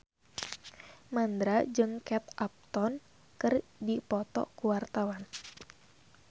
Mandra jeung Kate Upton keur dipoto ku wartawan